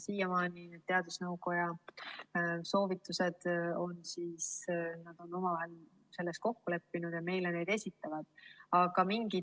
Siiamaani on teadusnõukoda soovitustes omavahel kokku leppinud ja nad esitavad neid meile.